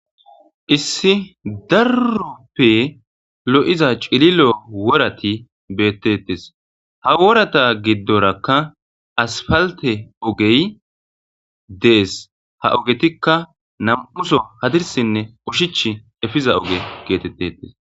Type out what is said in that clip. Issi darope lo'iza worati betetes ha woraza gidoraka aspalite ofey dees ha ogetika na'muso hadirisinee ushachi epida oge getetes